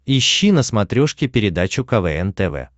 ищи на смотрешке передачу квн тв